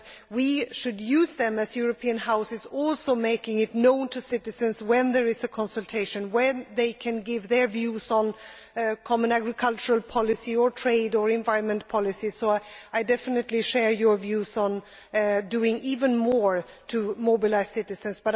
We should use them as European Houses, making it known to citizens when there is a consultation where they can give their views on the common agricultural policy or trade or environment policy. So I definitely share your views on doing even more to mobilise citizens.